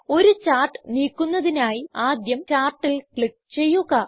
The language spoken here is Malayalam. ഒരു ചാർട്ട് നീക്കുന്നതിനായി ആദ്യം ചാർട്ടിൽ ക്ലിക്ക് ചെയ്യുക